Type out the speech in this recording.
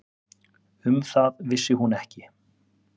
Um það vissi hún ekki.